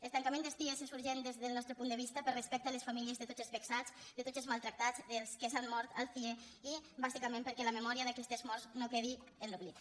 el tancament dels cie és urgent des del nos·tre punt de vista per respecte a les famílies de tots els vexats de tots els maltractats dels que s’han mort al cie i bàsicament perquè la memòria d’aquestes morts no quedi en l’oblit